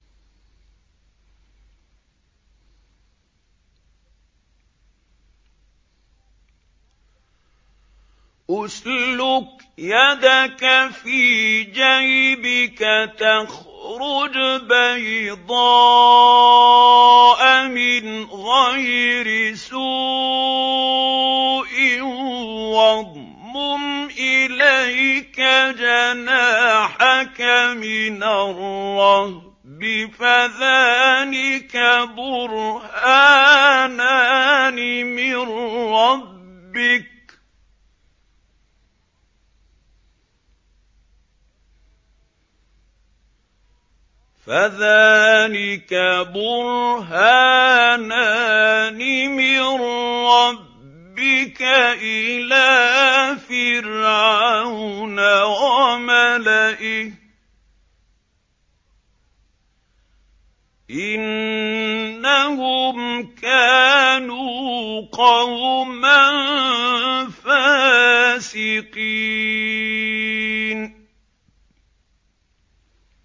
اسْلُكْ يَدَكَ فِي جَيْبِكَ تَخْرُجْ بَيْضَاءَ مِنْ غَيْرِ سُوءٍ وَاضْمُمْ إِلَيْكَ جَنَاحَكَ مِنَ الرَّهْبِ ۖ فَذَانِكَ بُرْهَانَانِ مِن رَّبِّكَ إِلَىٰ فِرْعَوْنَ وَمَلَئِهِ ۚ إِنَّهُمْ كَانُوا قَوْمًا فَاسِقِينَ